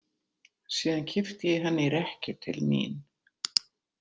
Síðan kippti ég henni í rekkju til mín.